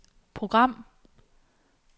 program